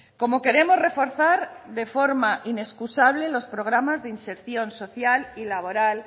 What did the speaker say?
como queremos reforzar de forma inexcusable los programas de inserción social y laboral